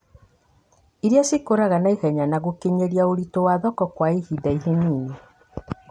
irĩa cikũraga naihenya na gũkinyĩra ũritũ wa thoko kwa ihinda ini,